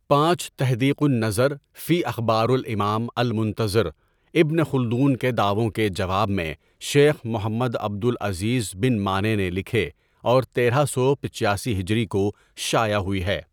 پانچ تحديق النظر فى أخبار الامام المنتظر، ابن خلدون کے دعؤوں کے جواب میں شيخ محمد عبد العزیز بن مانع نے لکھے اور تیرہ سو پچاسی ہجری کو شائع ہوئی ہے.